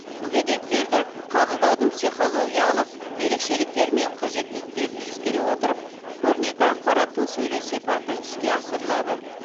мүгедектерді қабылдаудың психологиялық ерекшеліктері мен қажеттіліктерін ескере отырып көрнекі ақпараттың сөйлеу сипаты іске асырылады